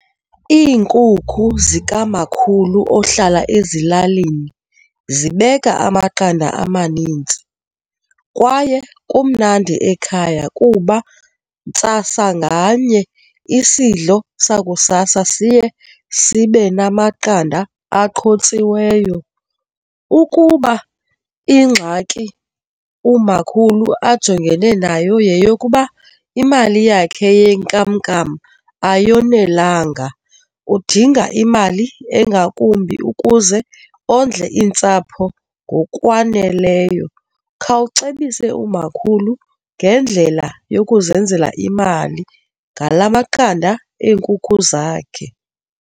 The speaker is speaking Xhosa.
Iinkukhu zikamkhulu ohlala ezilalini zibeka amaqanda amanintsi kwaye kumnandi ekhaya kuba ntsasa nganye isidlo sakusasa siye sibe namaqanda aqhotsiweyo. Ukuba ingxaki umakhulu ajongene nayo yeyokuba imali yakhe yenkamnkam ayonelanga udinga imali engakumbi ukuze ondle iintsapho ngokwaneleyo, khawucebisa umakhulu ngendlela yokuzenzela imali ngala maqanda enkukhu zakhe.